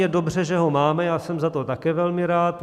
Je dobře, že ho máme, já jsem za to také velmi rád.